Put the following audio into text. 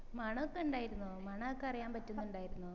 മണൊക്കെ ഇണ്ടാർന്നോ മണൊക്കെ അറിയാൻ പറ്റുന്നുണ്ടാർന്നോ